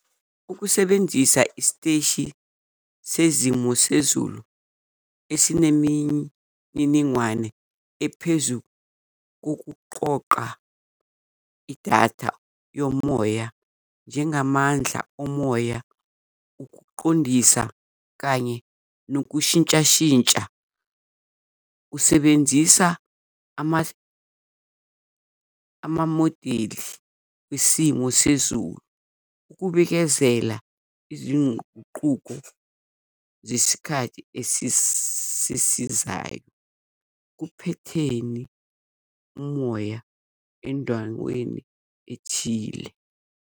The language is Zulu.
Ukusebenzisa isiteshi sezimo sezulu esinemininingwane ephezu kukuqoqa idatha yomoya njengamandla omoya ukuqondisa kanye nokushintshashintsha kusebenzisa amamodeli wesimo sezulu. Ukubikezela izinququko zesikhathi esizayo kuphetheni umoya endaweni ethile.